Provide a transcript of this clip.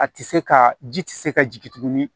A tɛ se ka ji tɛ se ka jigin tuguni